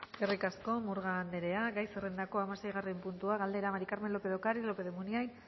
eskerrik asko murga andrea gai zerrendako hamaseigarren puntua galdera maría del carmen lópez de ocariz lópez de munain